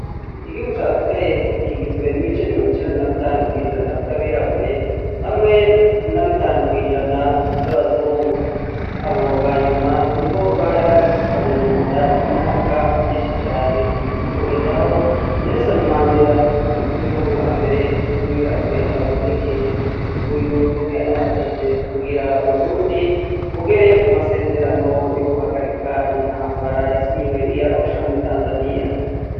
Igihugu c'Afrika y'epfo, kigizwe n'ibice mirongicenda na bitanu kw'ijana vy'abirabure, hamwe na bitanu kw'ijana vy'abazungu, abo banyuma nibo bari bagifukamye munda imyaka myinshi cane, kugeza aho Nelson Mandela, umukuru w'ihugu wa mbere w'umwirabure abonekeye. Uyu ni we yanafashije kugira Uburundi bugere ku masezerano yo guhagarika intambara, yasinyiwe i Arusha muri Tanzaniya.